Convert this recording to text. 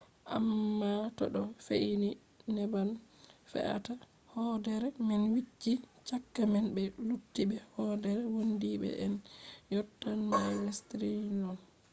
amma to ɗo fe’i ni neɓan fe’ata. hoodere man wicci. chaka man be luttuɓe hoodere wondiiɓe” en yottan mails triliyon